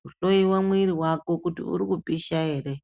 kuhloye mwiri wako kuti uri kupisha ere.